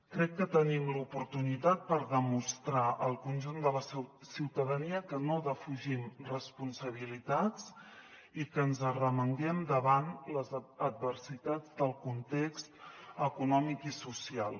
crec que tenim l’oportunitat per demostrar al conjunt de la ciutadania que no defugim responsabilitats i que ens arremanguem davant les adversitats del context econòmic i social